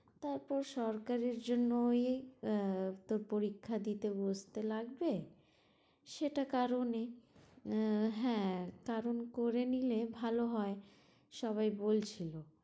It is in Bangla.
তারপর সরকারির জন্য ওই আহ তোর পরীক্ষা দিতে বসতে লাগবে সেটার কারণে, আহ হ্যাঁ কারণ করে নিলে ভালো হয় সবাই বলছিলো